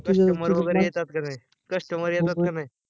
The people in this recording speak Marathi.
CUSTOMER वगरे येतात की नाही? CUSTOMER येतात की नाही?